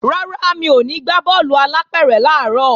Rárá, mi ò ní gbá bọ́ọ̀lù alápẹ̀rẹ̀ làárọ̀